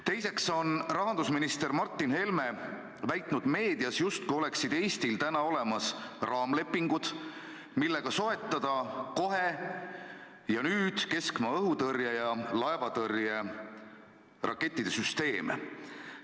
Teiseks on rahandusminister Martin Helme väitnud meedias, justkui oleksid Eestil olemas raamlepingud, millega soetada nüüd ja kohe keskmaa-õhutõrje ja laevatõrjerakettide süsteeme.